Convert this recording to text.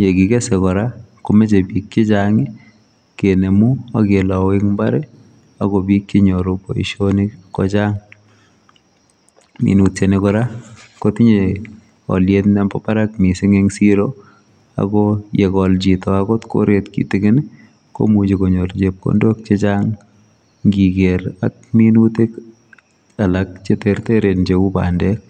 ye kikesei kora komachei biik biik che chaang ii kenemuun ak kelau en mbar ii ako biik che nyoruu boisionik ko chaang minutiet ni kora kotinyei aliet mambo Barak missing en siroo ago ye gol chitoo akoot koret kitikiin ii komuchii konyoor chepkondook che chaang ngigeer ak minutiik alaak che tertern che uu pandeek.